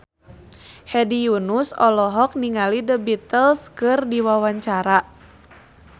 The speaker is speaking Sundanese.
Hedi Yunus olohok ningali The Beatles keur diwawancara